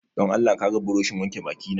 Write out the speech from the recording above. Don Allah ka ga burushin wanke baki na